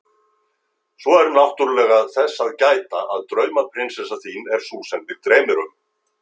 Svo er náttúrlega þess að gæta að draumaprinsessa þín er sú sem þig dreymir um.